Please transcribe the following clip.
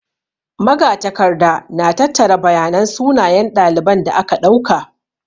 Magatakarda na tattara bayanan sunayen ɗaliban da aka ɗauka.